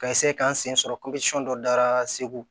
Ka k'an sen sɔrɔ dɔ dara segu